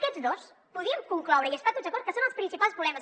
aquests dos podríem concloure i estar tots d’acord que són els principals problemes